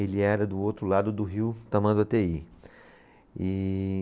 Ele era do outro lado do rio Tamanduateí, e